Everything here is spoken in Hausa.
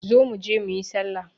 Zo mu je mu yi sallah.